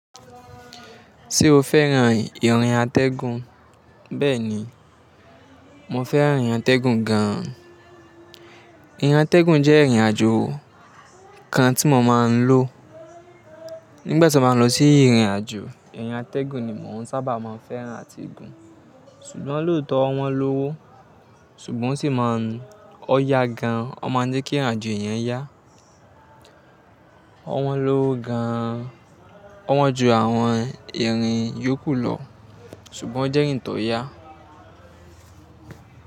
Ṣé o fẹ́ran ìrìn atẹ́gùn? Bẹ́ẹ̀ni, mo fẹ́ràn ìrìn atẹ́gùn gan. Ìrìn atẹ́gùn jẹ́ ìrìn àjò kan tí mo máa ń lò. Nígbà tí mo máa ń lọ sí ìrìn àjò, ìrìn atẹ́gùn ni mò ń sábà máa ń fẹ́ràn àti gùn. Ṣùgbọ́n lóòótọ́ wọ́n lówó, ṣùgbọ́n sì máa ń-- ọ́ ya gan, ó máa ń jẹ́ kí ìrìn àjò yẹn yá. Wọ́n lówó gan an, wọ́n ju àwọn ìrìn yókù lọ ṣùgbọ́n ó jẹ́ ìrìn tó ya.